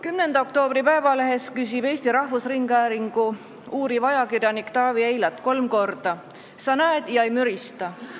10. oktoobri Postimehes kirjutab Eesti Rahvusringhäälingu uuriv ajakirjanik Taavi Eilat kolm korda: "Sa näed ja sa ei mürista.